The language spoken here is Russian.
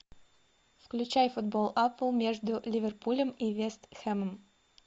включай футбол апл между ливерпулем и вест хэмом